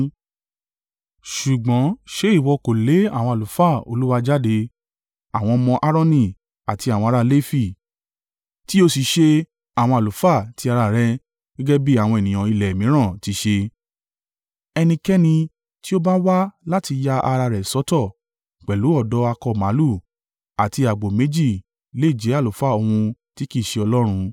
Ṣùgbọ́n ṣé ìwọ kò lé àwọn àlùfáà Olúwa jáde, àwọn ọmọ Aaroni àti àwọn ará Lefi. Tí ó sì ṣe àwọn àlùfáà ti ara rẹ̀ gẹ́gẹ́ bí àwọn ènìyàn ilẹ̀ mìíràn ti ṣe? Ẹnikẹ́ni tí ó bá wá láti ya ara rẹ̀ sọ́tọ̀ pẹ̀lú ọ̀dọ́ akọ màlúù àti àgbò méjì lè jẹ́ àlùfáà ohun tí kì í ṣe Ọlọ́run.